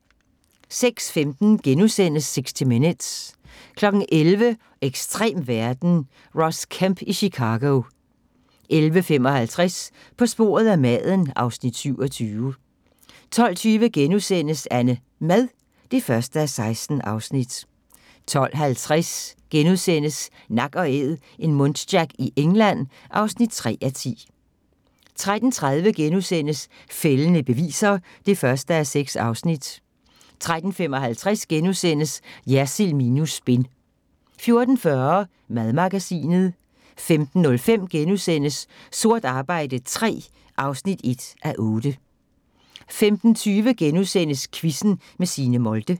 06:15: 60 Minutes * 11:00: Ekstrem verden – Ross Kemp i Chicago 11:55: På sporet af maden (Afs. 27) 12:20: AnneMad (1:16)* 12:50: Nak & æd - en muntjac i England (3:10)* 13:30: Fældende beviser (1:6)* 13:55: Jersild minus spin * 14:40: Madmagasinet 15:05: Sort arbejde III (1:8)* 15:20: Quizzen med Signe Molde *